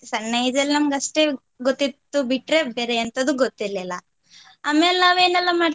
ಸಣ್ಣ age ಅಲ್ಲಿ ನಮ್ಗೆ ಅಷ್ಟೆ ಗೊತ್ತಿತ್ತು ಬಿಟ್ರೆ ಬೇರೆ ಎಂಥದು ಗೊತ್ತಿರ್ಲಿಲ್ಲ . ಆಮೇಲ್ ನಾವು ಏನೆಲ್ಲಾ ಮಾಡ್ತಿದ್ವಿ.